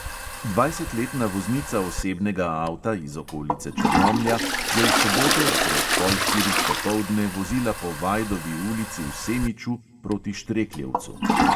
Dvajsetletna voznica osebnega avta iz okolice črnomlja je v soboto okrog pol štirih popoldne vozila po vajdovi ulici v semiču proti štrekljevcu.